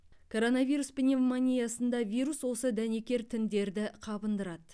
коронавирус пневмониясында вирус осы дәнекер тіндерді қабындырады